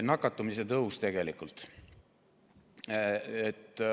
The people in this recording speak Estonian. Nakatumise tõusust.